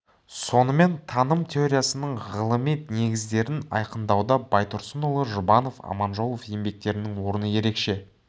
сонымен таным теориясының ғылыми негіздерін айқындауда байтұрсынұлы жұбанов аманжолов еңбектерінің орны ерекше